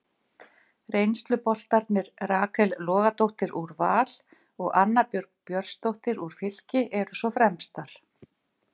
Reynsluboltarnir Rakel Logadóttir úr Val og Anna Björg Björnsdóttir úr Fylki eru svo fremstar.